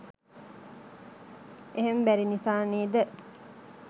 එහෙම බැරි නිසා නේද